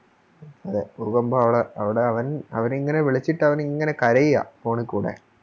അതെ ഭൂകമ്പാണ് അവിടെ അവൻ അവനിങ്ങനെ വിളിച്ചിട്ടവൻ ഇങ്ങനെ കരയുവാ Phone കൂടെ